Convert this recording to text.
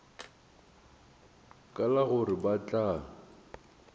ka la gore ba tla